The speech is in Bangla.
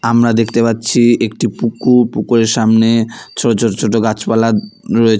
আমরা দেখতে পাচ্ছি একটি পুকুর পুকুরের সামনে ছোট ছোট ছোট গাছপালা রয়েছ--